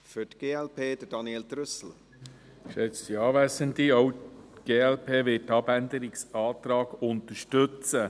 Auch die glp wird diesen Abänderungsantrag unterstützen.